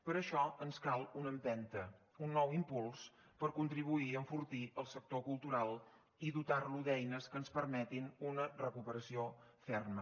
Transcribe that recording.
per això ens cal una empenta un nou impuls per contribuir a enfortir el sector cultural i dotar lo d’eines que ens permetin una recuperació ferma